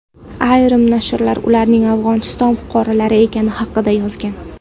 Ayrim nashrlar ularning Afg‘oniston fuqarolari ekani haqida yozgan.